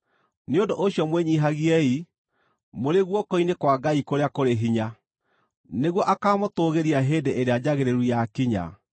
Nĩ ũndũ ũcio mwĩnyiihagiei, mũrĩ guoko-inĩ kwa Ngai kũrĩa kũrĩ hinya, nĩguo akaamũtũũgĩria hĩndĩ ĩrĩa njagĩrĩru yakinya.